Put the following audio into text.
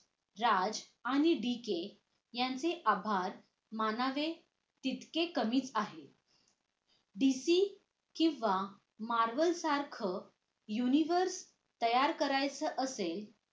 राज आणि b k यांचे आभार मानावे तितके कमी आहे d c किंवा marvel सारखं uniwork तयार करायचं असेल